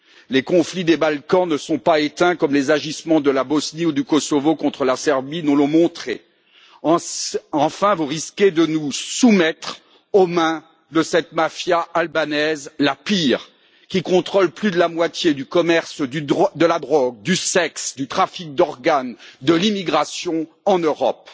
les conflits des Balkans ne sont pas éteints comme les agissements de la Bosnie ou du Kosovo contre la Serbie nous l'ont montré enfin, vous risquez de nous soumettre aux mains de cette mafia albanaise la pire qui contrôle plus de la moitié du commerce de la drogue, du sexe, du trafic d'organes et de l'immigration en Europe.